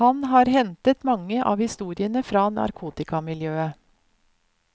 Han har hentet mange av historiene fra narkotikamiljøet.